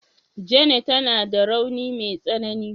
Jane tana da rauni wai tsanani.